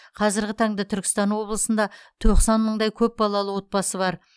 қазіргі таңда түркістан облысында тоқсан мыңдай көпбалалы отбасы бар